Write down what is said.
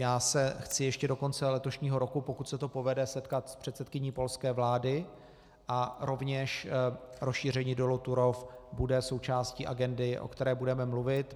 Já se chci ještě do konce letošního roku, pokud se to povede, setkat s předsedkyní polské vlády a rovněž rozšíření dolu Turów bude součástí agendy, o které budeme mluvit.